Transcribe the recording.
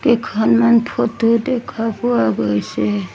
কেইখনমান ফটো দেখা পোৱা গৈছে।